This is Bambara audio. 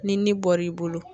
Ni ni bɔr'i bolo